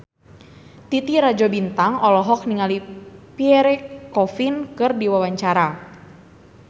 Titi Rajo Bintang olohok ningali Pierre Coffin keur diwawancara